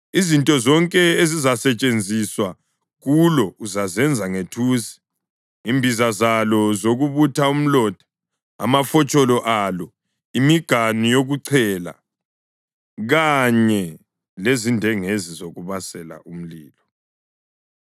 Izinto zonke ezizasetshenziswa kulo uzazenza ngethusi, imbiza zalo zokubutha umlotha, amafotsholo alo, imiganu yokuchela, amafologwe enyama kanye lezindengezi zokubasela umlilo.